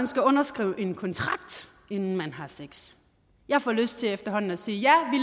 skal underskrive en kontrakt inden man har sex jeg får lyst til efterhånden at sige